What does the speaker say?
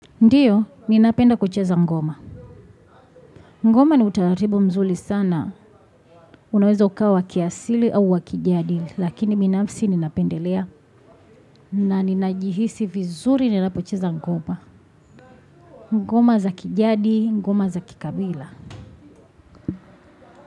Ndiyo, ninapenda kucheza ngoma. Ngoma ni utararibu mzuri sana. Unaweza ukawa wa kiasili au wa kijadi. Lakini binafsi ninapendelea. Na ninajihisi vizuri ninapocheza ngoma. Ngoma za kijadi, ngoma za kikabila.